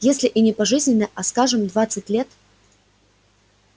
если и не пожизненное а скажем двадцать лет